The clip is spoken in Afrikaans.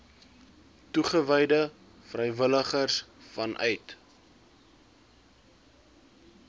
toegewyde vrywilligers vanuit